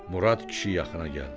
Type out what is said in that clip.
Murad kişi yaxına gəldi.